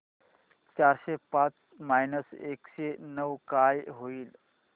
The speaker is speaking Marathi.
चारशे पाच मायनस एकशे नऊ काय होईल